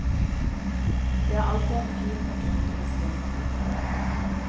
Det er alltid en fin og gripende stund.